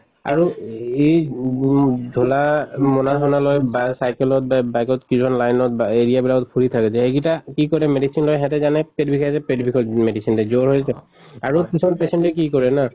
আৰু এই গুম জনা মোনা চোনা লৈ বা cycle ত বে bike ত কিছুমান line ত বা area বিলাকত ফুৰি থাকে যে এইগিটা কি কৰে medicine লয় হেতে জানে পেট বিষাইছে পেট বিষত medicine দে, জ্বৰ হয় ত আৰু কিছুমান patient য়ে কি কৰে না